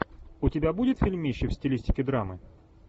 у тебя будет фильмище в стилистике драмы